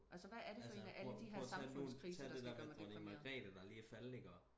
altså prøv nu og tage det der med dronning magrete der lige er faldet ikke også